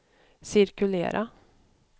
cirkulera